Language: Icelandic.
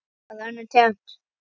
Bara önnur tegund.